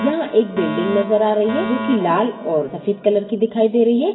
यह एक बिल्डिंग नजर आ रही है जो कि लाल और सफ़ेद कलर की दिखाई दे रही है।